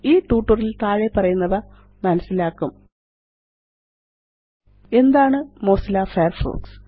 ഈ ട്യൂട്ടോറിയൽ ല് താഴെപ്പറയുന്നവ മനസ്സിലാക്കും എന്താണ് മൊസില്ല ഫയർഫോക്സ്